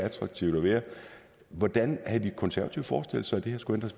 attraktivt at være hvordan havde de konservative forestillet sig at det her skulle